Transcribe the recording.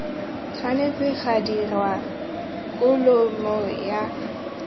tshwanetse ga dirwa kholomo ya